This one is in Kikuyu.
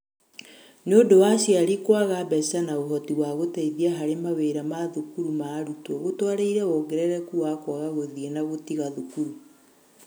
Nĩũndũ wa aciari kũaga mbeca na ũhoti wa gũteithia harĩ mawĩra ma thukuru ma arutwo gũtwarĩrĩire wongerereku wa kũaga gũthiĩ na gũtiga thukuru.